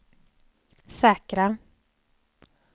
säkra